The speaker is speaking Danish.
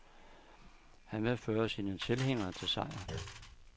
Han vil føre sine tilhængere til sejr.